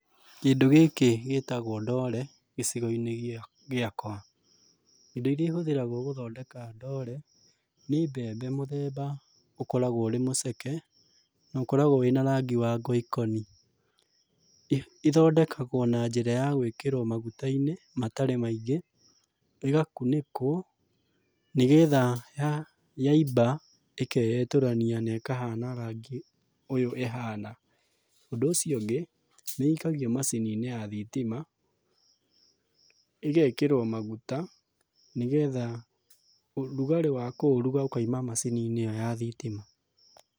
Kĩndũ gĩkĩ gĩtagwo ndore gĩcigo-inĩ gĩakwa. Indo irĩa ihũthĩragwo gũthondeka ndore, nĩ mbembe mũthemba ũkoragwo ũrĩ mũceke, na ũkoragwo wĩna rangi wa ngoikoni, ithondekagwo na njĩra ya gwĩkĩrwo maguta-inĩ matarĩ maingĩ, ĩgakunĩkwo, nĩgetha yaimba ĩkeetũrania na ĩkahana rangi ũyũ ĩhana. Ũndũ ũcio ũngĩ, nĩ ĩikagio macini-inĩ ya thitima, ĩgekĩrwo maguta, nĩgetha ũrugarĩ wa kũũruga ũkaima macini-inĩ ĩyo ya thitima.